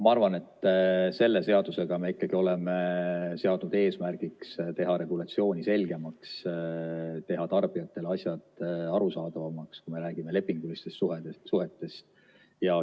Ma arvan, et selle seadusega me ikkagi oleme seadnud eesmärgiks teha regulatsiooni selgemaks, teha tarbijatele asjad arusaadavamaks, kui me räägime lepingulistest suhetest.